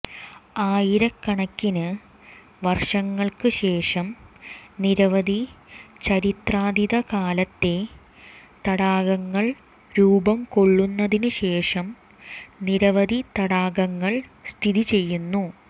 ആയിരക്കണക്കിന് വർഷങ്ങൾക്ക് ശേഷം നിരവധി ചരിത്രാതീതകാലത്തെ തടാകങ്ങൾ രൂപം കൊള്ളുന്നതിനുശേഷം നിരവധി തടാകങ്ങൾ സ്ഥിതിചെയ്യുന്നു